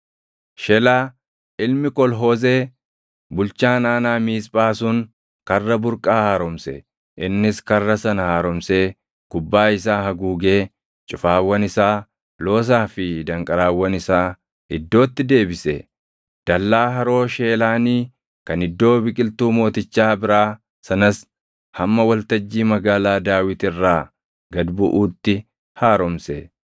Shelaa ilmi Kol-Hoozee bulchaan aanaa Miisphaa sun Karra Burqaa haaromse. Innis karra sana haaromsee gubbaa isaa haguugee cufaawwan isaa, loosaa fi danqaraawwan isaa iddootti deebise. Dallaa Haroo Sheelaanii kan Iddoo Biqiltuu Mootichaa biraa sanas hamma waltajjii Magaalaa Daawit irraa gad buʼuutti haaromse.